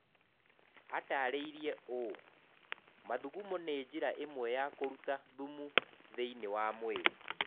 Aatarĩirie ũũ: "Mathungumũ nĩ njĩra ĩmwe ya kũruta thumu thĩinĩ wa mwĩrĩ.